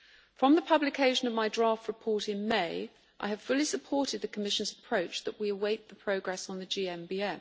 From the publication of my draft report in May, I have fully supported the Commission's approach that we await the progress on the GMBM.